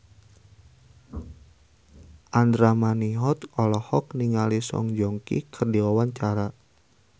Andra Manihot olohok ningali Song Joong Ki keur diwawancara